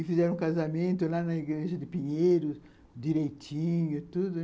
E fizeram casamento lá na igreja de Pinheiros, direitinho, tudo, né?